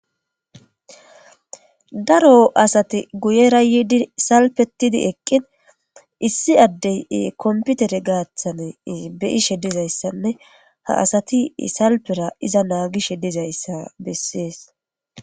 Daro asati guyera yidi salpetidi eqin issi Adey kompitere gidon beuisje dizaydanne ha asati salpera ixa mashishe dizaysa beses.